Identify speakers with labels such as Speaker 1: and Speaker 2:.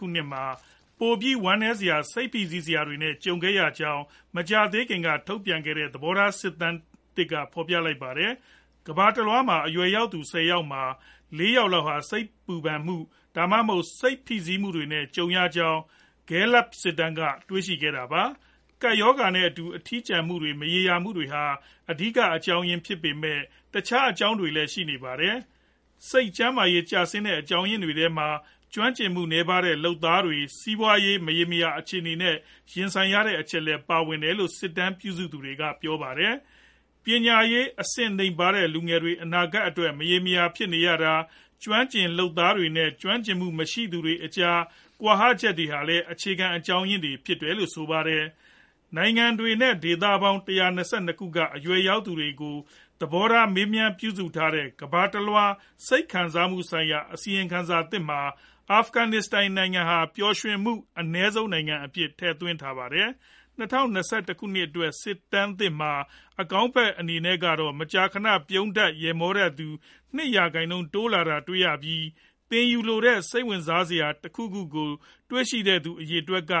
Speaker 1: ခုနှစ်မှာ ပိုပြီး ဝမ်းနည်းစရာ၊ စိတ်ဖိစီးစရာတွေနဲ့ ကြုံခဲ့ရကြောင်း မကြာသေးခင်က ထုတ်ပြန်လိုက်တဲ့ သဘောထား စစ်တမ်းသစ်က ဖော်ပြလိုက်ပါတယ်။ ကမ္ဘာတလွှားက အရွယ်ရောက်သူ ၁၀ ယောက်မှာ ၄ ယောက်ဟာ စိုးရိမ်ပူပမ်မှု၊ ဒါမှမဟုတ် စိတ်ဖိစီးမှုနဲ့ ကြုံခဲ့ကြရကြောင်း Gallup စစ်တမ်းက တွေ့ရှိခဲ့တာပါ။ ကပ်ရောဂါနဲ့အတူ အထီးကျန်မှုတွေ၊ မရေရာမှုတွေဟာ အဓိက အကြောင်းရင်း ဖြစ်ပေမဲ့ တခြားအကြောင်းတွေလည်း ရှိနေပါတယ်။ စိတ်ကျန်းမာရေး ကျဆင်းရတဲ့ အကြောင်းရင်းတွေထဲမှာ ကျွမ်းကျင်မှုနည်းပါးတဲ့ လုပ်သားတွေ စီးပွားရေး မရေမရာ အခြေအနေနဲ့ ရင်ဆိုင်နေရတဲ့ အချက်လည်း ပါဝင်တယ်လို့ စစ်တမ်းပြုစုသူတွေက ပြောပါတယ်။ ပညာရေး အဆင့်အတန်းနိမ့်ပါးတဲ့ လူငယ်တွေ အနာဂတ်အတွက် မရေမရာ ဖြစ်နေရတာ၊ ကျွမ်းကျင်လုပ်သားနဲ့ ကျွမ်းကျင်မှု မရှိတဲ့သူတွေကြား ကွာဟချက်တွေဟာလည်း အခြေခံအကြောင်းရင်းတွေ ဖြစ်တယ်လို့ ဆိုပါတယ်။ နိုင်ငံတွေနဲ့ ဒေသပေါင်း ၁၂၂ ခုက အရွယ်ရောက်သူတွေရဲ့ သဘောထားကို မေးမြန်းပြုစုထားတဲ့ ကမ္ဘာတလွှား စိတ်ခံစားမှုဆိုင်ရာ အစီရင်ခံစာသစ်မှာ အာဖဂနစ္စတန်နိုင်ငံဟာ ပျော်ရွှင်မှုအနည်းဆုံး နိုင်ငံအဖြစ်နဲ့ ထည့်သွင်းထားပါတယ်။ ၂၀၂၁ ခုနှစ်အတွက် စစ်တမ်းသစ်မှာ အကောင်းဖက် အနေနဲ့ကတော့ မကြာခဏ ပြုံးတတ်၊ ရယ်မောတတ်တဲ့သူ ၂ ရာခိုင်နှုန်း တိုးလာတာတွေ့ရပြီး၊ သင်ယူလိုတဲ့ စိတ်ဝင်စားစရာ တခုခုကို တွေ့ရှိတဲ့သူ အရေအတွက်က